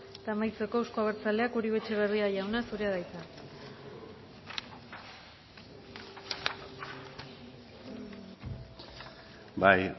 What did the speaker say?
eta amaitzeko euzko abertzaleak uribe etxebarria jauna zurea da hitza bai